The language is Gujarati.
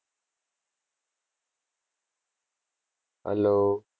Hello.